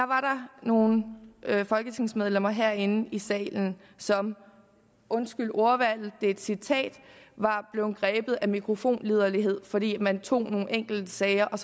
var der nogle folketingsmedlemmer herinde i salen som undskyld ordvalget det er et citat var blevet grebet af mikrofonliderlighed fordi man tog nogle enkeltsager og